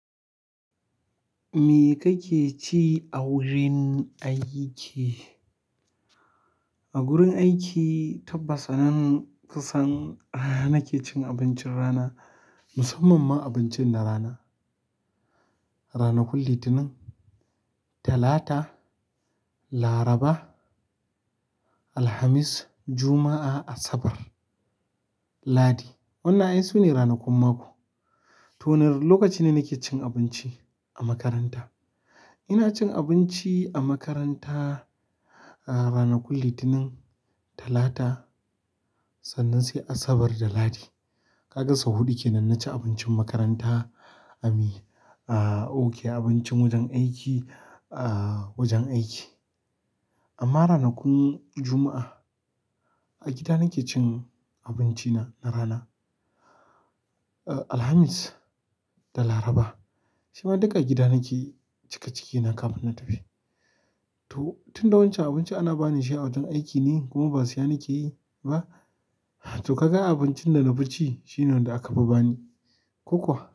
Me kake ci a wurin aiki? A gurin aiki tabbas anan kusan nake cin abincin rana, musamman ma abincin na rana. Ranakun kullum Litinin, Talata, Laraba, Alhamis, Juma'a, Asabar, Ladi. Wannan ai sune ranakun mako. To nar-- lokaci ne nake cin abinci a makaranta. Ina cin abinci a makaranta, ah, rana kun Litinin, Talata sannan sai Asabar da Lahadi. Ka ga sau huɗu ke nan naci abincin makaranta. Ami, ah, ok abincin wajen aiki, ah, wajen aiki. Amma ranakun Juma'a, a gida nake cin abinci na, na rana. Ah, Alhamis da Laraba, shi ma duka a gida nake cika cikina kafin na tafi. To tun da wancan abinci ana bani shi a wajen aiki ne kuma ba siya nake yi ba. To ka ga abincin da na bi ci shine wanda aka fi bani. Ko kuwa?